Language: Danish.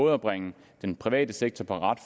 at bringe den private sektor på ret